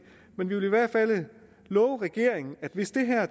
men vi vil i hvert fald love regeringen at hvis der her